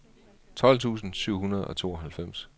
tolv tusind syv hundrede og tooghalvfems